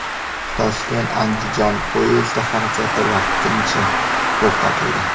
Toshkent Andijon poyezdi harakati vaqtincha to‘xtatildi.